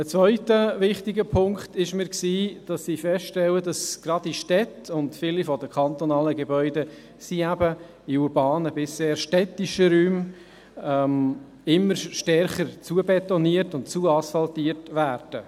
Ein zweiter wichtiger Punkt ist mir, dass ich feststelle, dass gerade die Städte und viele der kantonalen Gebäude sind in urbanen bis sehr städtischen Räumen, immer stärker zubetoniert und «zuasphaltiert» werden.